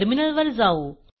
टर्मिनलवर जाऊ